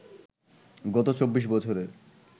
গত ২৪ বছরের